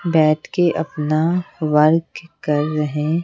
बैठ के अपना वर्क कर रहे --